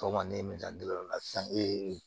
Sɔgɔma ne ye o la sisan ee